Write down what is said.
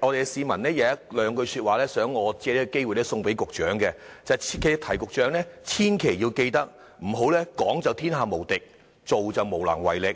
有市民有兩句說話，想我藉此機會送給局長，他叫我切記要提醒局長，千萬不要"講就天下無敵，做就無能為力"。